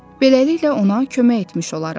Beləliklə ona kömək etmiş olarıq.